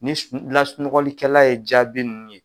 Ni lasunɔgɔlikɛla ye jaabi ninnu ye